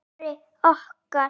Snorri okkar.